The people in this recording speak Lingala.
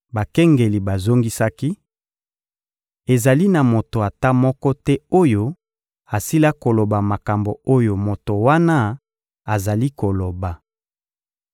Bakengeli bazongisaki: — Ezali na moto ata moko te oyo asila koloba makambo oyo moto wana azali koloba.